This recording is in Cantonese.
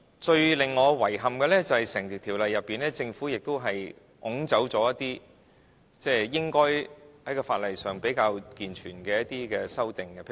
最令我遺憾的，就是《條例草案》中，政府亦抽走一些在法例上比較健全的修訂。